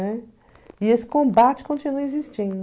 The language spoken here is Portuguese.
E esse combate continua existindo., né?